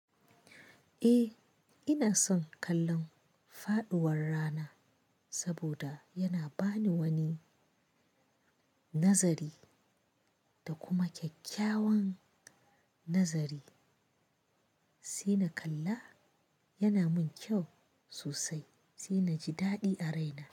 Eh, ina son kallon faduwar rana, saboda yana bani wani nazari da kuma kyakkyawan nazari, sai na kalla yana min kyau sosai, sai na ji daɗi a raina.